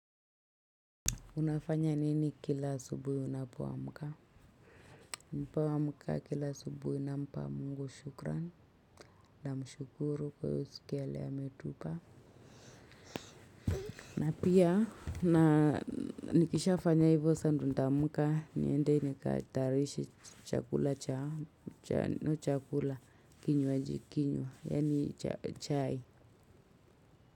Unafanya nini kila asubuhi unapoa mka? Nipoamka kila asubuhi nampa mungu shukran na mshukuru kwa hio siku ya leo ametupa. Na pia na nikisha fanya hivyo sa ndo nitaamka niende nikatayarishe chakula cha chakula kinywaji kinywa yaani chai.